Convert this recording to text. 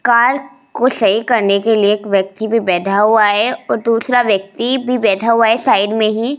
car को सही करने के लिए एक व्यक्ति भी बैठा हुआ है और दूसरा व्यक्ति भी बैठा हुआ है साइड में ही --